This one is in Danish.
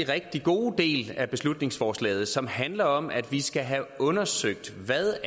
rigtig god del af beslutningsforslaget som handler om at vi skal have undersøgt hvad